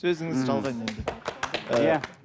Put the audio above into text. сөзіңізді жалғайын енді